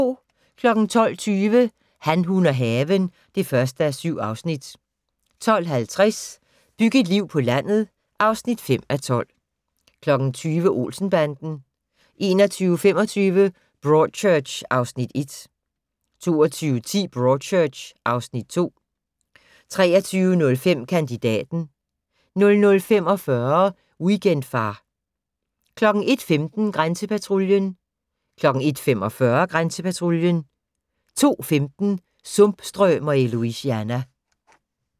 12:20: Han, hun og haven (1:7) 12:50: Byg et liv på landet (5:12) 20:00: Olsen-banden 21:25: Broadchurch (Afs. 1) 22:10: Broadchurch (Afs. 2) 23:05: Kandidaten 00:45: Weekendfar 01:15: Grænsepatruljen 01:45: Grænsepatruljen 02:15: Sumpstrømer i Louisiana